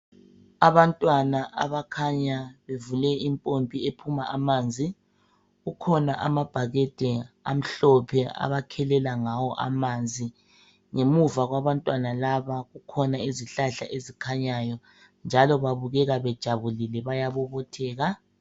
Abantwana abakhanya bevule impompi ephuma amanzi. Kukhona amabhakede amhlophe abakhelela ngawo amanzi. Ngemuva kwabantwana laba kukhona izihlahla ezikhanyayo, njalo babukeka bejabulile bayabobotheka.